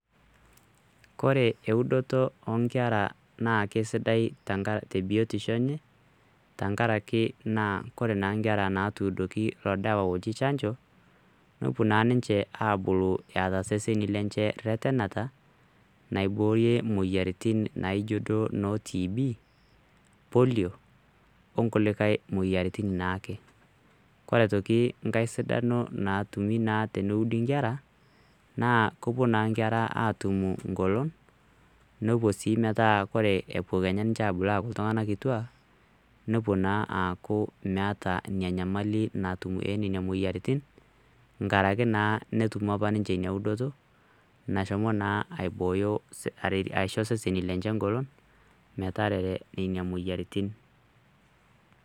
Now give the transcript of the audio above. kore eudoto onkera naa kesidai tebiotisho enye tenkarake naa kore naa inkera natuudoki ilo dawa loji chanjo nepuo naa ninche abulu eata seseni lenche rretenata naiborie moyiaritin naijo duo ino tb,polio onkulikae moyiaritin naake kore aitoki nkae sidano natumi naa teneudi inkera naa kopuo naa inkera atumu ngolon nepuo sii metaa kore epuo kenya ninche abul aaku iltung'anak kituak nopuo naa aaku meeta inia nyamali natum enena moyiaritin nkaraki naa netumo apa ninche ina udoto nashomo naa aibooyo aisho seseni lenye ngolon metarere nena moyiaritin.